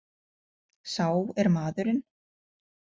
Sá er maðurinn.